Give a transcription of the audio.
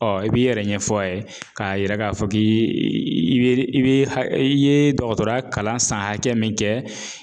Ɔ i b'i yɛrɛ ɲɛfɔ a ye k'a yira k'a fɔ k'i bɛ i bɛ i ye dɔgɔtɔrɔya kalan san hakɛ min kɛ